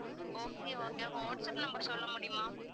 okay okay உங்க WhatsApp number சொல்ல முடியுமா?